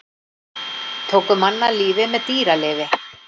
Tóku mann af lífi með dýralyfi